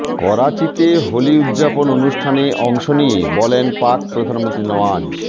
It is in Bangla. করাচিতে হোলি উদযাপন অনুষ্ঠানে অংশ নিয়ে বলেন পাক প্রধানমন্ত্রী নওয়াজ